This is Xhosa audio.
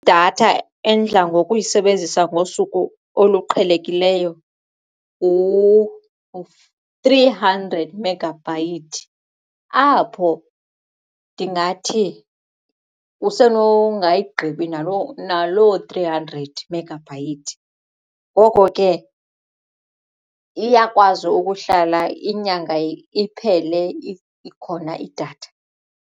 Idatha endidla ngokuyisebenzisa ngosuku oluqhelekileyo ngu-three hundred megabyte apho ndingathi usenongayigqibi naloo three hundred megabyte ngoko ke iyakwazi ukuhlala inyanga iphele ikhona idatha.